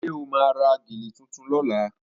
Ṣé o máa ra gèlè tuntun lọ́la?